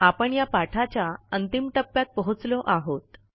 आपण या पाठाच्या अंतिम टप्प्यात पोहोचलो आहोत